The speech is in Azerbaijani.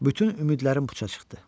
Bütün ümidlərim puça çıxdı.